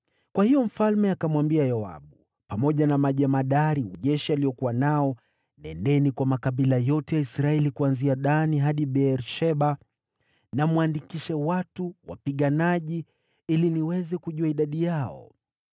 Kwa hiyo mfalme akamwambia Yoabu, pamoja na majemadari wa jeshi aliokuwa nao, “Nendeni kwa makabila yote ya Israeli kuanzia Dani hadi Beer-Sheba na mwandikishe watu wapiganaji, ili niweze kujua idadi yao.”